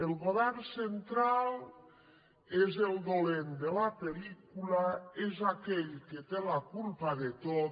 el govern central és el dolent de la pel·lícula és aquell que té la culpa de tot